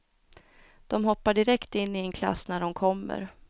De hoppar direkt in i en klass när de kommer.